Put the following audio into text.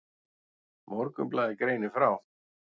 Morgunblaðið greinir frá.